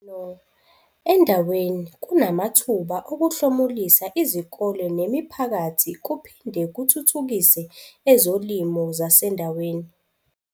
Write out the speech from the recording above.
.no endaweni kunamathuba okuhlomulisa izikole nemiphakathi kuphin de kuthuthukise ezolimo zasendaweni.